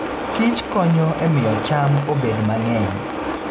kich konyo e miyo cham obed mang'eny.